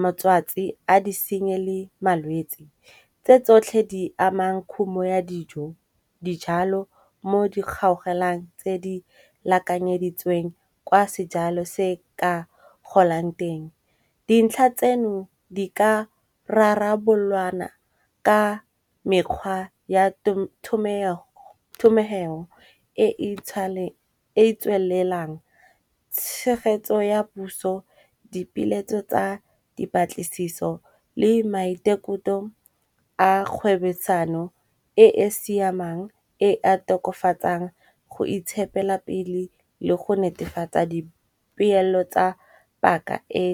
motswatsi a disenyi le malwetsi. Tse tsotlhe di amang khumo ya dijo, dijalo mo di kgaogelang tse di lekanyeditsweng kwa sejalo se ka golang teng. Dintlha tseno di ka rarabolwana ka mekgwa ya thomegeo e tswelelang, tshegetso ya puso dipeeletso tsa dipatlisiso le maitekoto a kgwebosano e e siamang e a tokofatsang go itshepela pele le go netefatsa dipeelo tsa paka e.